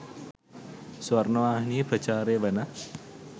ස්වර්ණවාහිනියෙ ප්‍රචාරය වන